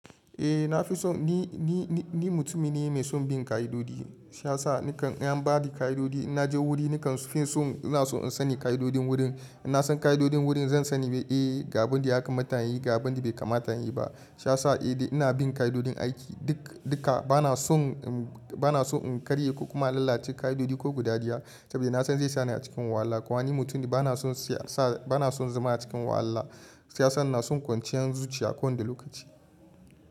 Eh na fi son ni mutumi ne mai son bin ka'idoji. Shiyasa nikan in anbani ka'idoji, innaje wuri nakan finso ina so in sani ka'idodin wurin. Inna san ka'idodin wurin zan sani wai eh ga abinda ya kamata inyi, ga abinda bai kamata inyiba. Shiyasa eh dai ina bin ka'idodin aiki duk duka. Banason, banason in karye ko kuma in lalace ka'idoji ko guda ɗiya saboda nason zai sani a cikin wahala. Kumani mutum ne bana son sa, ba nason zama a cikin wahala. Shiyasa inason kwanciyan zuciya kowane lokaci.